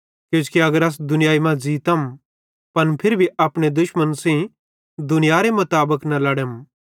किजोकि अगर अस दुनियाई मां ज़ीतम पन फिरी भी अपने दुश्मन्न सेइं दुनियारे मुताबिक न लड़म